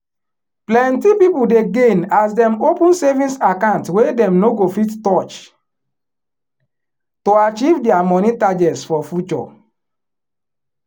plenty people dey gain as dem open savings account wey dem no go fit um touch to achieve dia money targets for future